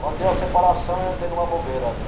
Quando deu a separação, eu entrei numa bobeira.